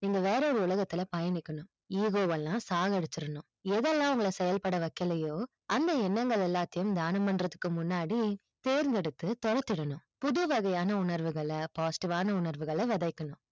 நீங்க வேற ஒரு உலகத்துல பயணிக்கணும் ego வளாம் சாவடிசிடனும் எதெல்லாம் அது செய்யல் பட வைக்களைய்யோ அந்த எண்ணங்கள் எல்லாத்தையும் தியானம் பண்றத்துக்கு முன்னாடி தேர்ந்தெடுத்து தனித்திடனும் புதுவகையான உணர்வுகள நல்லா positive வான உணர்வுகள விதைக்கணும்